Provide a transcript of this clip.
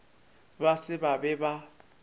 ba se ba be ba